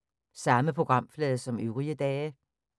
Samme programflade som øvrige dage